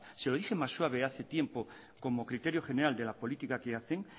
se lo dije más suave hace tiempo como criterio general de la política que hacen